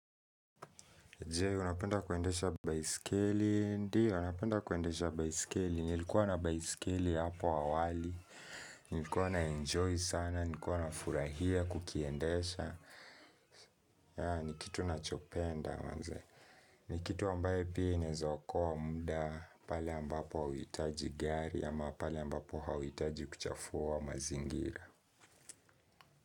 Je, unapenda kuendesha baisikeli? Ndio, napenda kuendesha baisikeli. Nilikuwa na baisikeli hapo awali. Nilikuwa naenjoy sana. Nilikuwa nafurahia kukiendesha. Ni kitu nachopenda manze. Ni kitu ambayo pia inaeza okoa muda. Pale ambapo hauitaji gari. Ama pale ambapo hauitaji kuchafua mazingira.